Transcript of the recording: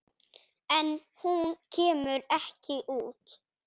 En hún kemur ekki út.